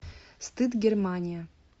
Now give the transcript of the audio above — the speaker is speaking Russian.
стыд германия